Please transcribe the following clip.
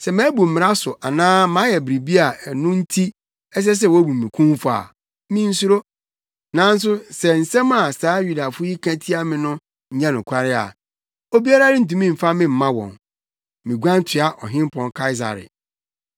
Sɛ mabu mmara so anaa mayɛ biribiara a ɛno nti ɛsɛ sɛ wobu me kumfɔ a, minsuro. Nanso sɛ nsɛm a saa Yudafo yi ka tia me no nyɛ nokware a, obiara rentumi mfa me mma wɔn. Miguan toa Ɔhempɔn Kaesare.”